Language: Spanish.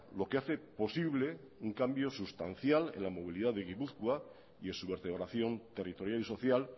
lo que hace posible un cambio sustancial en la movilidad de gipuzkoa y en su vertebración territorial y social